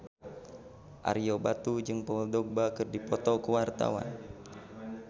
Ario Batu jeung Paul Dogba keur dipoto ku wartawan